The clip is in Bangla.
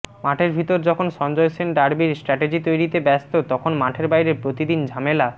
মাঠের ভিতর যখন সঞ্জয় সেন ডার্বির স্ট্র্যাটেজি তৈরিতে ব্যস্ত তখন মাঠের বাইরে প্রতিদিন ঝামেলা